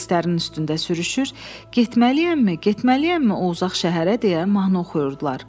Relslərin üstündə sürüşür, getməliyəmmi, getməliyəmmi o uzaq şəhərə deyə mahnı oxuyurdular.